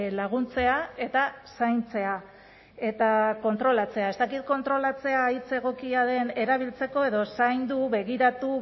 laguntzea eta zaintzea eta kontrolatzea ez dakit kontrolatzea hitz egokia den erabiltzeko edo zaindu begiratu